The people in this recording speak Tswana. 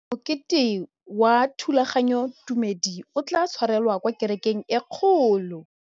Mokete wa thulaganyôtumêdi o tla tshwarelwa kwa kerekeng e kgolo.